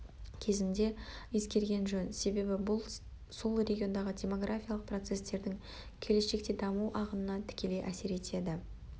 кезінде ескерген жөн себебі бұл сол региондағы демографиялық процестердің келешекте даму ағынына тікелей әсер етеді